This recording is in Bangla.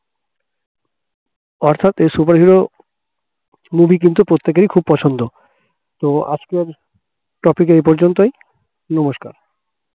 অর্থাৎ এই superhero movie কিন্তু প্রত্যেকেরই খুব পছন্দ তো আজকের topic এই পর্যন্তই নমস্কার